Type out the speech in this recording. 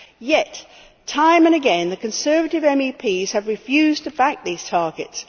Yet, time and again, Conservative MEPs have refused to back these targets.